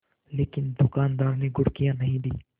लेकिन दुकानदार ने घुड़कियाँ नहीं दीं